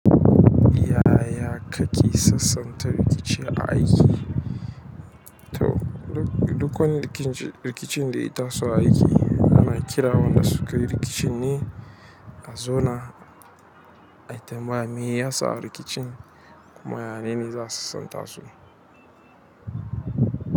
Yaya kake sassanta rikici a aiki? To, duk wani rikicin da ya taso a aiki ana kiran waɗanda sukayi rikicin ne a zauna. Me ya sa rikicin kuma yaya nene za a sasanta su.